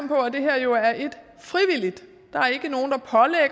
på at det her jo er frivilligt der